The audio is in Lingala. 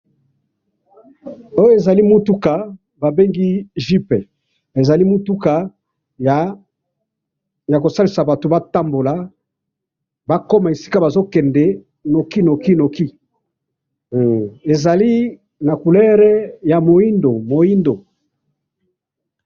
oyo ezali mutuka ba bengi jeep, ezali mutuka yako salisaka bato ko tambola, ba koma esika bazo kende noki noki noki, ezali na couleur ya moindo